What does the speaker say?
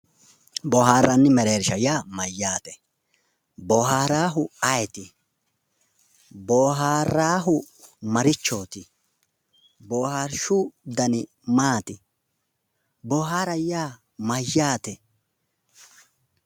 Boohaaranni mereershsha yaa mayyaate? boohaaraahu ayeeti? boohaaraahu marichooti? boohaarshshu dani maati? boohaara yaa mayyaate?